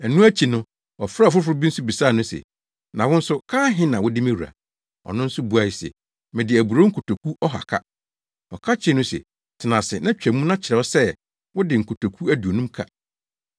“Ɛno akyi no, ɔfrɛɛ ɔfoforo bi nso bisaa no se, ‘Na wo nso, ka ahe na wode me wura?’ “Ɔno nso buae se, ‘Mede aburow nkotoku ɔha ka.’ “Ɔka kyerɛɛ no se, ‘Tena ase na twa mu na kyerɛw sɛ, wode nkotoku aduonum ka!’